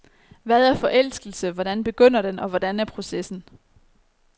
Hvad er forelskelse, hvordan begynder den og hvordan er processen?